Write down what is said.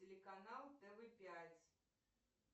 телеканал тв пять